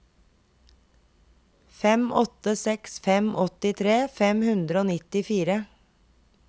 fem åtte seks fem åttitre fem hundre og nittifire